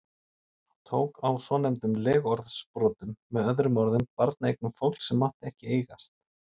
Hann tók á svonefndum legorðsbrotum, með öðrum orðum barneignum fólks sem ekki mátti eigast.